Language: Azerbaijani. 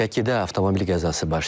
Şəkidə avtomobil qəzası baş verib.